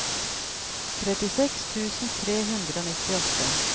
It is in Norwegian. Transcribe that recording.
trettiseks tusen tre hundre og nittiåtte